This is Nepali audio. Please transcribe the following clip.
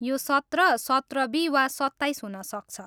यो सत्र, सत्र बी वा सत्ताइस हुन सक्छ।